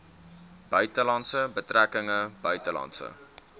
buitelandse betrekkinge buitelandse